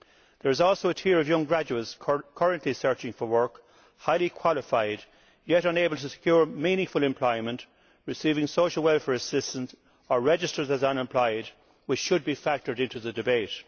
There is also a tier of young graduates currently searching for work, who are highly qualified yet unable to secure meaningful unemployment, receiving social welfare assistance or registered as unemployed, which should be factored into the debate.